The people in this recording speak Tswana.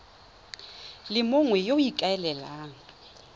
le mongwe yo o ikaelelang